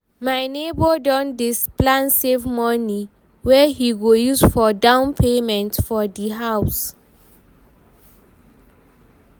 my nebor don dy plan save money wey he go use for down payment for di house